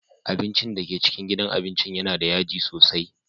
Abincin da ke cikin gidan abincin yana da yaji sosai.